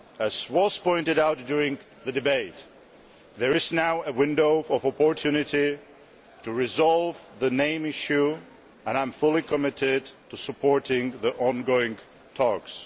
As was pointed out during the debate, there is now a window of opportunity to resolve the name issue, and I am fully committed to supporting the ongoing talks.